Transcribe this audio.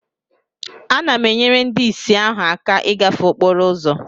Ana m enyere ndị ìsì ahụ aka ịgafe okporo ụzọ